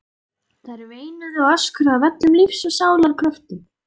Þær veinuðu og öskruðu af öllum lífs og sálar kröftum.